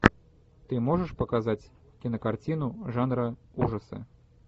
ты можешь показать кинокартину жанра ужасы